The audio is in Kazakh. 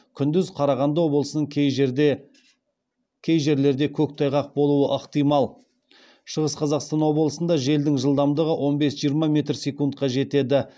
күндіз қарағанды облысының кей жерлерде көктайғақ болуы ықтимал шығыс қазақстан облысында желдің жылдамдығы он бес жиырма метр секундқа дейін жетеді